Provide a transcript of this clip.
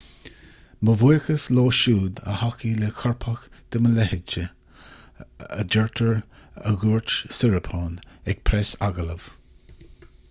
mo bhuíochas leo siúd a thacaigh le coirpeach de mo leithéidse a deirtear a dhúirt siriporn ag preasagallamh